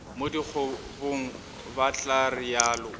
mo dikobong ba tla realo